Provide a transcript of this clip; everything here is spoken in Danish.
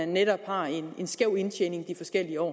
netop har en skæv indtjening de forskellige år